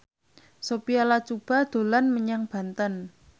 Sophia Latjuba dolan menyang Banten